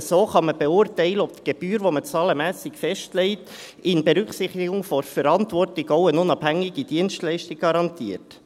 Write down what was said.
Nur so kann man beurteilen, ob die Gebühr, die man zahlenmässig festlegt, in Berücksichtigung der Verantwortung, auch eine unabhängige Dienstleistung garantiert.